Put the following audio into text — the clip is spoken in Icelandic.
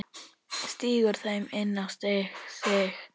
Stingur þeim inn á sig.